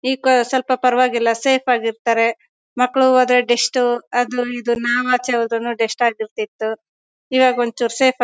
ಏಕ್ ಸ್ವಲ್ಪ ಪರವಾಗಿಲ್ಲ ಸೇಫ್ ಆಗಿ ಇರ್ತಾರೆ. ಮಕ್ಕಳು ಹೋದ್ರೆ ಡಸ್ಟ್ ಅದು ಇದು ನಾವು ಆಚೆ ಹೊದ್ರುನು ಡಸ್ಟ್ ಆಗಿರ್ತತು. ಈಗ ಒಂಚೂರ್ ಸೇಫ್ --